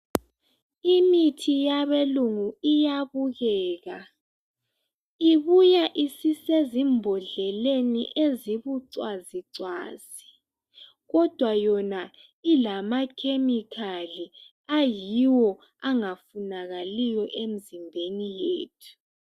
imithi yabelungu iyabukeka ibuya isezimbohleleni ezibucwazicwazi kodwa yona ilamakhemikhali ayiwo angafunakaliyo emzimbeni yethu